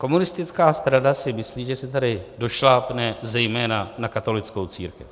Komunistická strana si myslí, že si tady došlápne zejména na katolickou církev.